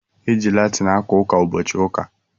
E ji Latin aka ụka ụbọchị ụka